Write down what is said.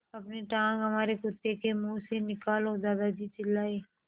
अपनी टाँग हमारे कुत्ते के मुँह से निकालो दादाजी चिल्लाए